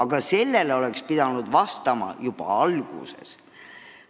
Ja sellele oleks pidanud vastama juba alguses.